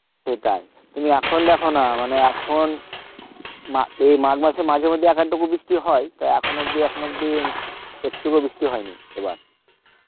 সেটাই তুমি এখন দেখো না মানে এখন মা~ এ মাঘ মাসে মাঝেমধ্যে একাতটুকু বৃষ্টি হয় তা এখন অব্দি এখনো অব্দি একটুও বৃষ্টি হয়নি এবার